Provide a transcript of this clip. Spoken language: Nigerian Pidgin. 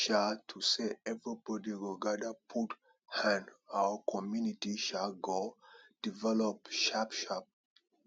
if um to say everybody go gadir put hand our community um go develop sharp sharp